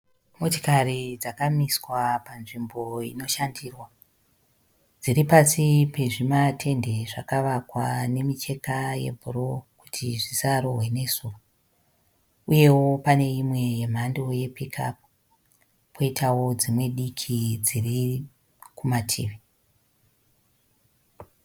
Motikari dzakamiswa panzvimbo inoshandirwa. Dziripasi pezvimatende zvakavakwa nemicheka yebhuruu kuti zvisarohwe nezuva. Uyewo pane imwe yemhando yepikiapu, poitawo dzimwe diki dziri kumativi.